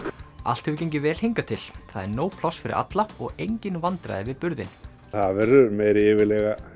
allt hefur gengið vel hingað til það er nóg pláss fyrir alla og engin vandræði við burðinn það verður meiri yfirlega